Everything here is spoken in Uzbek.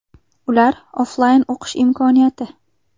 Ular: Offlayn o‘qish imkoniyati.